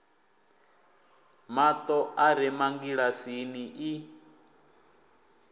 mato a re mangilasini i